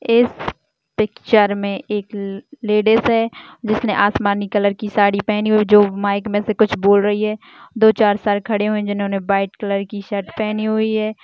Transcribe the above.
इस पिक्चर मे एक ले-लेडीस है जिसने आसमानी कलर की साड़ी पहनी हुई जो माइक मे से कुछ बोल रही है दो चार सर खड़े है जिन्होंने व्हाइट कलर की शर्ट पहनी हुई है।